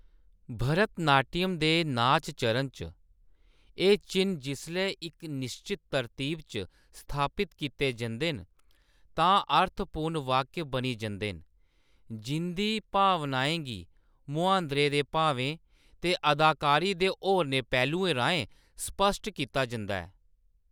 भरतनाट्यम दे नाच चरण च, एह्‌‌ चिʼन्न जिसलै इक निश्चत तरतीब च स्थापत कीते जंदे न तां अर्थपूर्ण वाक्य बनी जंदे न, जिंʼदी भावनाएं गी मुहांदरे दे भावें ते अदाकारी दे होरनें पहलुएं राहें स्पश्ट कीता जंदा ऐ।